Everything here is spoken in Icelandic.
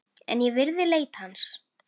En ég virði leit hans.